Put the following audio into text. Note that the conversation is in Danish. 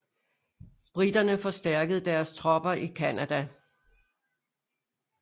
Briterne forstærkede deres tropper i Canada